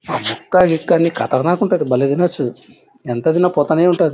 ముక్క గిక్క అన్ని ఖతర్నాక్ ఉంటాది బాలే తినొచ్చు. ఎంత తిన్న పోతూనే ఉంటది.